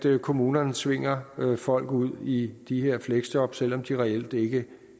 at kommunerne tvinger folk ud i de her fleksjob selv om de reelt ikke